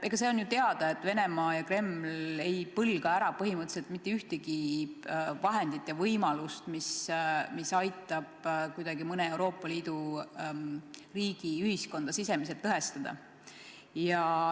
Eks see on ju teada, et Venemaa ja Kreml ei põlga ära põhimõtteliselt mitte ühtegi vahendit ega võimalust, mis aitab kuidagi mõne Euroopa Liidu riigi ühiskonda sisemiselt lõhestada.